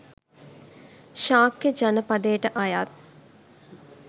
ශාක්‍ය ජනපදයට අයත්